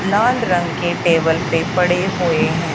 लाल रंग के टेबल पे पड़े हुए हैं।